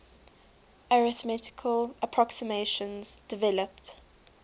arithmetical approximations developed